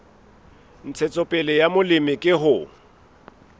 ntshetsopele ya molemi ke ho